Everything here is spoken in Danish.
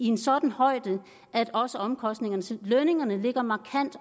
en sådan højde at også omkostningerne til lønningerne ligger markant